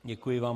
Děkuji vám.